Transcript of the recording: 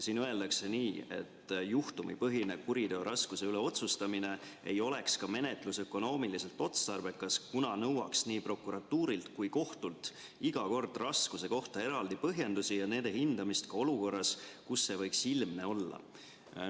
Siin öeldakse nii, et juhtumipõhine kuriteo raskuse üle otsustamine ei oleks ka menetlusökonoomiliselt otstarbekas, kuna nõuaks nii prokuratuurilt kui kohtult iga kord raskuse kohta eraldi põhjendusi ja nende hindamist ka olukorras, kus see võiks ilmne olla.